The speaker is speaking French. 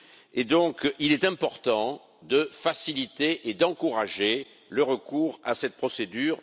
Il est donc important de faciliter et d'encourager le recours à cette procédure.